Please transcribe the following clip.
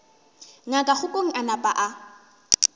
ngaka kgokong a napa a